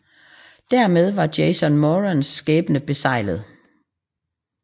Dermed var Jason Morans skæbne beseglet